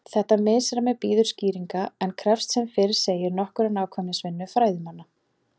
Þetta misræmi bíður skýringar en krefst sem fyrr segir nokkurrar nákvæmnisvinnu fræðimanna.